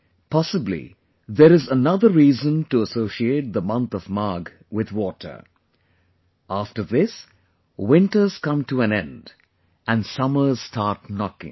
possibly there is another reason to associate the month of Magh with water after this, winters come to an end and summers start knocking